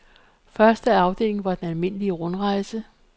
Første afdeling var den almindelige rundrejse.